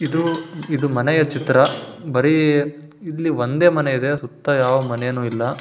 ಇದು ಇದು ಮನೆಯ ಚಿತ್ರ. ಬರೇ ಇಲ್ಲಿ ಒಂದೇ ಮನೆ ಇದೆ ಸುತ್ತ ಯಾವ ಮನೇನು ಇಲ್ಲ.